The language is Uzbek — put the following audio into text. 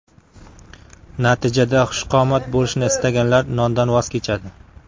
Natijada xushqomat bo‘lishni istaganlar, nondan voz kechadi.